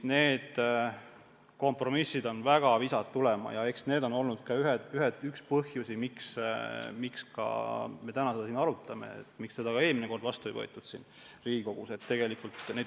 Kompromissid on väga visad tulema ja eks see on olnud ka üks põhjusi, miks me täna seda siin arutame, miks seda seadust eelmine kord Riigikogus vastu ei võetud.